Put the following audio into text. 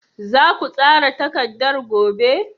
Za ku tsara takardar gobe?